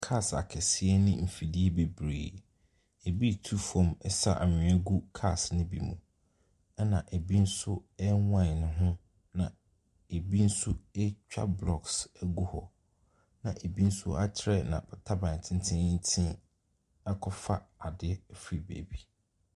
Cars akɛseɛ ne mfidie bebree, ɛbi retu fam sa anwea gu cars nobi mu, ɛna ɛbi nso rewine ne ho, na ɛbi nso retwa blocks agu hɔ. Ɛna ɛbi nso aterɛ n'ab . Taban tententen akɔfa adeɛ afiri baabi.